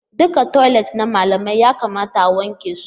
Duka toilet na malamai ya kamata a wanke su